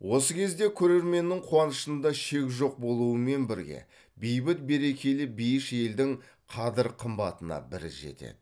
осы кезде көрерменнің қуанышында шек жоқ болуымен бірге бейбіт берекелі бейіш елдің қадыр қымбатына бір жетеді